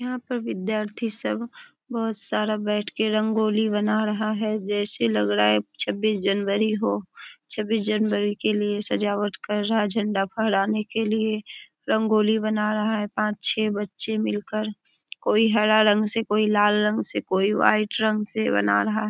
यहाँ पर विद्यार्थी सब बहुत सारा बैठ के रंगोली बना रहा है जैसे लग रहा है छब्बीस जनवरी हो। छबीस जनवरी के लिए सजावट कर रहा है झंडा फहराने के लिए। रंगोली बना रहा है पांच छे बच्चे मिलकर। कोई हरा रंग से कोई लाल रंग से कोई वाइट रंग से बना रहा है।